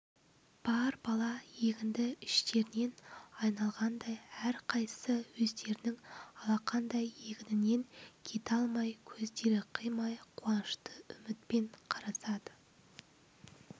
бар бала егінді іштерінен айналғандай әрқайсысы өздерінің алақандай егінінен кете алмай көздері қимай қуанышты үмітпен қарасады